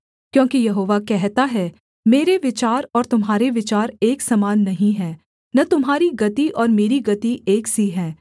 क्योंकि यहोवा कहता है मेरे विचार और तुम्हारे विचार एक समान नहीं है न तुम्हारी गति और मेरी गति एक सी है